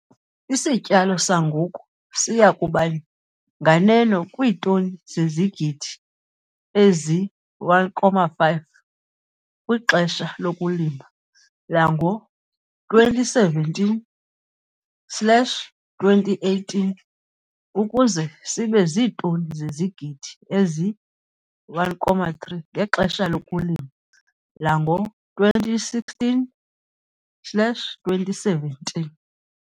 Isityalo sangoku siya kuba nganeno kwiitoni zezigidi ezi-1,5 kwixesha lokulima lango-2017 slash 2018 ukuze sibe ziitoni zezigidi ezi-1,3 ngexesha lokulima lango-2016 slash 2017.